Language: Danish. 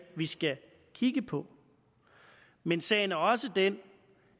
vi skal kigge på men sagen er også den